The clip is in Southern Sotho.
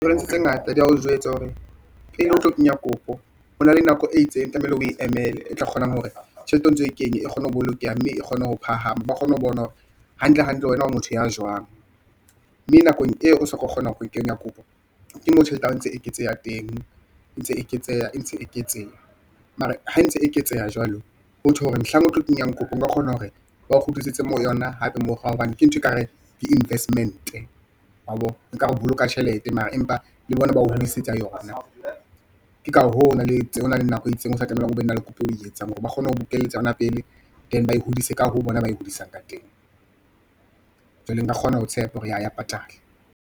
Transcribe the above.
Hona le dintho tse ngata di ya o jwetsa hore pele o tlo kenya kopo, ho na le nako e itseng tlamehile o emele e tla kgonang hore tjhelete o ntso o e kenye, e kgone ho bolokeha mme e kgone ho phahama ba kgone ho bona hore hantle hantle, wena o motho ya jwang. Mme nakong eo o soka o kgona ho kenya kopo ke mo tjhelete ya hao entse e ke tseha teng, e ntse e eketseha, e ntse e eketseha mara ha e ntse e eketseha jwalo hothwe hore mohlang o tlo kenya kopo o ka kgona hore ba o kgutlisetse mo yona hape morao hobane ke ntho e kare ke investment-e wabo, nkare o boloka tjhelete mara empa le bona ba o hodisetsa yona. Ke ka hoo ho na le nako e itseng o sa tlamehang o be na le kopo eo o e etsang hore ba kgone ho o bokelletsa yona pele then ba e hodise ka ho bona ba e hodisang ka teng. Jwale nka kgona ho tshepa hore jah, ya patala.